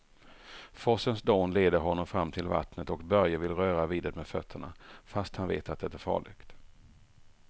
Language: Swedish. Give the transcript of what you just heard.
Forsens dån leder honom fram till vattnet och Börje vill röra vid det med fötterna, fast han vet att det är farligt.